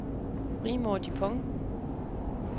Rigmor Dupont